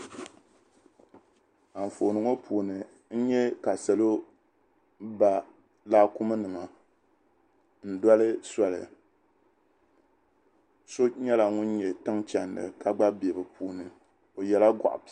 Anfooni ŋo puuni n nyɛ ka salo ba laakumi nima n doli soli so nyɛla ŋun nyɛ tin chɛnda ka gba bɛ bi puuni o yɛla goɣa piɛlli